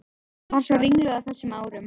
Var svo ringluð á þessum árum.